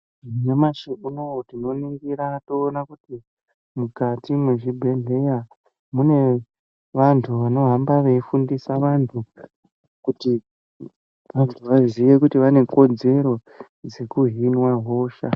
Nyamashi unou tinoningira toona Kuti mukati mwezvibhedhlera mune vantu vanohamba veifundisa vantu kuti vantu vaziye kuti vane kodzero dzekuhinwa hosha.